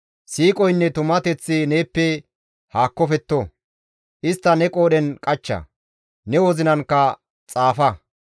Siiqoynne tumateththi neeppe haakkofetto; istta ne qoodhen qachcha; ne wozinankka xaafa.